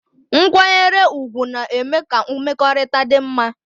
Nkwanyere ugwu na-eme ka mmekọrịta dị mma